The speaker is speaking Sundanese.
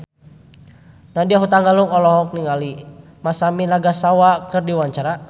Nadya Hutagalung olohok ningali Masami Nagasawa keur diwawancara